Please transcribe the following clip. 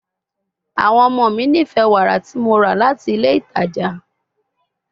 Awọn ọmọ mi nifẹ wara ti Mo ra lati ile itaja